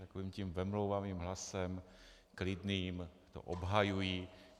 Takovým tím vemlouvavým hlasem, klidným, to obhajují.